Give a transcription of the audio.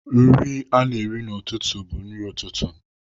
Nri a na-eri n'ụtụtụ bụ nri ụtụtụ.